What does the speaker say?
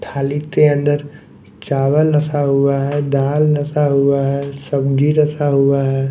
थाली के अंदर चावल रखा हुआ है दाल रखा हुआ है सब्जी रखा हुआ है।